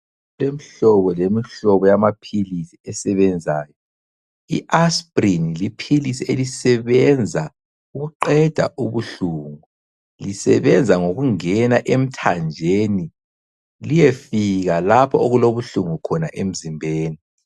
Kulemihlobo lemihlobo yamaphilisi esebenzayo . IAspirin liphilisi elisebenza ukuqeda ubuhlungu. Lisebenza ngokungena emthanjeni liyefika lapho okulobuhlungu khona emzimbeni.